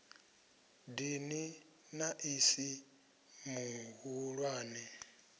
dini na i si mihulwane